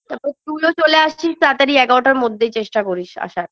তারপর তুইও চলে আসছিস তাড়াতাড়ি এগারটার মধ্যেই চেষ্টা করিস আসার